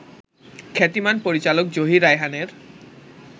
খ্যাতিমান পরিচালক জহির রায়হানের